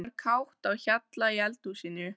Það var kátt á hjalla í eldhúsinu.